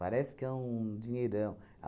Parece que é um dinheirão.